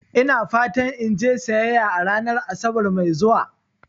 Ina fatan in je siyayya a ranar Asabar mai zuwa.